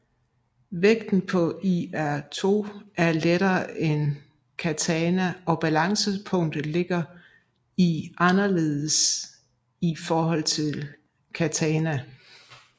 Vægten på iaitō er lettere end katana og balancepunktet ligger anderledes i forhold til katana